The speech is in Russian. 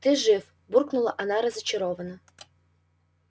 ты жив буркнула она разочарованно